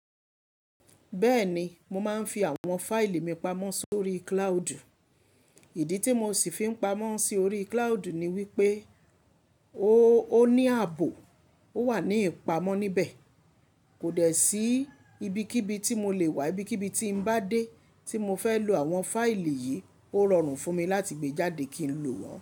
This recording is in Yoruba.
Bẹ́ẹ̀ni, mo máa ń fi àwọn fáìlì mi pamọ́ sórí cloud. Ìdí tí mo sì fi ń pamọ́ sí orí cloud ni wípé ó, ó ní ààbò. Ó wà ní ìpamọ́ níbẹ̀. Kò dẹ̀ sí ibikíbi tí mo lè wà, ibikíbi tí ń bá dé tí mo fẹ́ lo àwọn fáìlì yìí ó rọrùn fún mi láti gbé jáde kí n lò wọ́n.